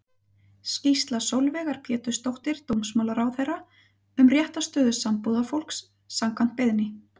Skýrsla Sólveigar Pétursdóttur dómsmálaráðherra um réttarstöðu sambúðarfólks, samkvæmt beiðni.